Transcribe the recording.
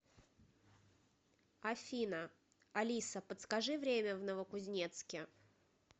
афина алиса подскажи время в новокузнецке